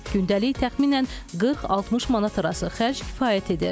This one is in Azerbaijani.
Gündəlik təxminən 40-60 manat arası xərc kifayət edir.